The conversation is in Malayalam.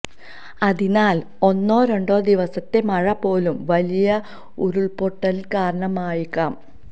അതിനാല് ഒന്നോ രണ്ടോ ദിവസത്തെ മഴ പോലും വലിയ ഉരുള്പൊട്ടലിന് കാരണമായേക്കാം